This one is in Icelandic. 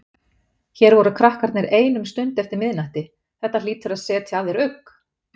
Hér voru krakkarnir ein um stund eftir miðnætti, þetta hlýtur að setja að þér ugg?